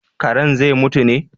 Karen zai mutu ne?